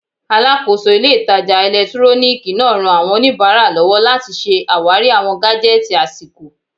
Alàkóso ilé ìtajà ẹ̀lẹ́túróníìkì náà ran àwọn oníbàárà lọ́wọ́ láti ṣe àwárí awọn gájẹ́tìì àsìkò